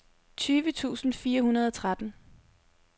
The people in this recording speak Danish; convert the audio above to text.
tyve tusind fire hundrede og tretten